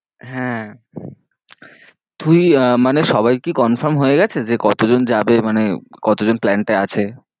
হ্যাঁ তুই আহ মানে সবাই কি confirm হয়ে গেছে যে কতজন যাবে, মানে কতজন plan টায় আছে?